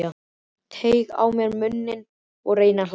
Teygi á mér munninn og reyni að hlæja.